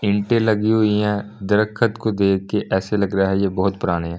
ईंटे लगी हुई हैदरखत को देख के ऐसे लग रहा है ये बहुत पुरानी है।